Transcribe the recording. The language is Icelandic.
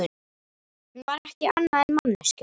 Hún var ekki annað en manneskja.